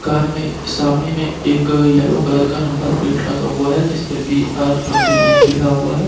Car में सामने में एक येलो कलर का नंबर प्लेट लगा हुआ है जिसपर बी.आर. ट्वेन्टी नाइन लिखा हुआ है।